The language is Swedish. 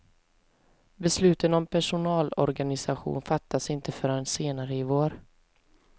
Besluten om personalorganisation fattas inte förrän senare i vår.